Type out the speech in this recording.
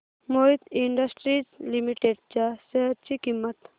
Mohit industries limited च्या share ची किंमत